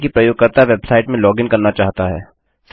मानिए कि प्रयोगकर्ता वेबसाइट में लॉगिन करना चाहता है